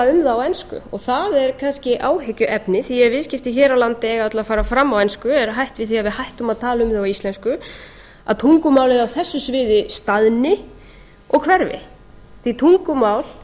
á ensku og það er kannski áhyggjuefni því að ef viðskipti hér á landi eiga öll að fara fram á ensku er hætt við því að við hættum að tala um þau á íslensku að tungumálið á þessu sviði staðni og hverfi því tungumál